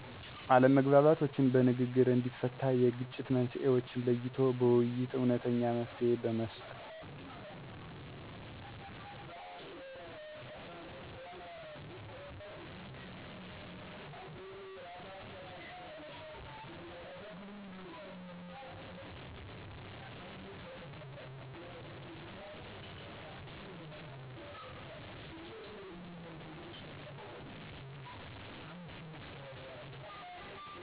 አለመግባባቶችን በንግግር እንዲፈታ የግጭት መንሥኤዎችን ለይቶ በውይይት እውነተኛ መፍትሔ በመስጠት